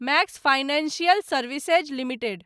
max Financial Services limited